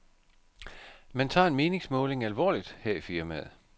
Man tager en meningsmåling alvorligt her i firmaet.